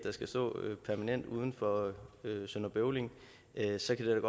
skal stå permanent uden for sønder bøvling så kan det